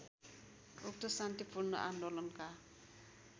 उक्त शान्तिपूर्ण आन्दोलनका